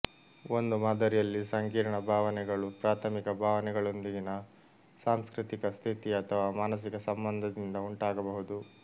ಒಂದು ಮಾದರಿಯಲ್ಲಿ ಸಂಕೀರ್ಣ ಭಾವನೆಗಳು ಪ್ರಾಥಮಿಕ ಭಾವನೆಗಳೊಂದಿಗಿನ ಸಾಂಸ್ಕೃತಿಕ ಸ್ಥಿತಿ ಅಥವಾ ಮಾನಸಿಕ ಸಂಬಂಧದಿಂದ ಉಂಟಾಗಬಹುದು